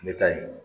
U bɛ taa yen